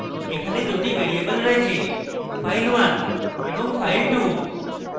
এখানে দুটি ভ্যারিয়েবল রয়েছে file1 এবং file2